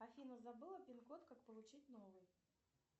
афина забыла пинкод как получить новый